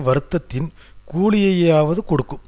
வருத்தத்தின் கூலியையாவது கொடுக்கும்